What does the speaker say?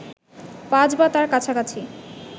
৫ বা তার কাছাকাছি